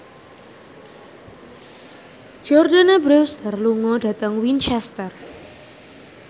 Jordana Brewster lunga dhateng Winchester